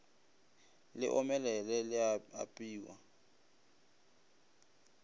le omelele le a apewa